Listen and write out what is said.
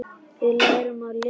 Við lærum að lesa.